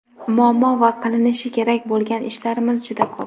muammo va qilinishi kerak bo‘lgan ishlarimiz juda ko‘p.